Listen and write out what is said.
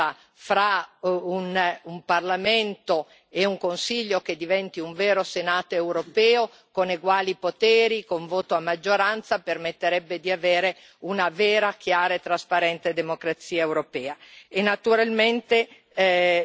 Io credo che un'equivalenza fra un Parlamento e un Consiglio che diventi un vero Senato europeo, con eguali poteri, con voto a maggioranza, permetterebbe di avere una vera, chiara e trasparente democrazia europea.